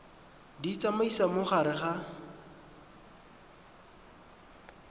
di tsamaisa mo gare ga